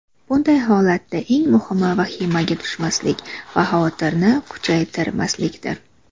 Bunday holatda eng muhimi vahimaga tushmaslik va xavotirni kuchaytirmaslikdir.